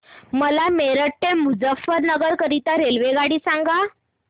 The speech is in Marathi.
मला मेरठ ते मुजफ्फरनगर करीता रेल्वेगाडी सांगा